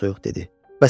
Soyuq-soyuq dedi.